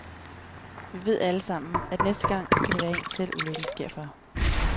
Vi ved allesammen, at næste gang kan det være en selv, ulykken sker for.